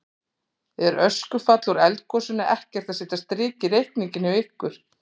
Er öskufall úr eldgosinu ekkert að setja strik í reikninginn hjá ykkur?